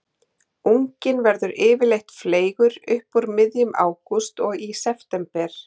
Unginn verður yfirleitt fleygur upp úr miðjum ágúst og í september.